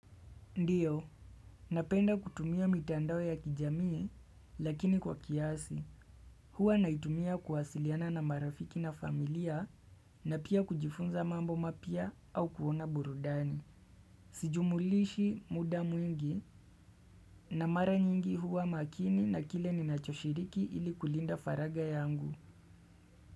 Ndiyo, napenda kutumia mitandao ya kijamii lakini kwa kiasi, huwa naitumia kuwasiliana na marafiki na familia na pia kujifunza mambo mapya au kuona burudani. Sijumlishi muda mwingi na mara nyingi huwa makini na kile ninachoshiriki ili kulinda faraga yangu.